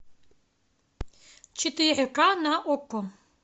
четыре ка на окко